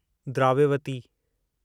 Dravyavati